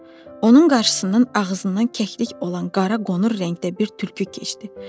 Onun qarşısından ağzından kəklik olan qara qonur rəngdə bir tülkü keçdi.